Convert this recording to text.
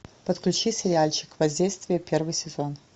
подключи сериальчик воздействие первый сезон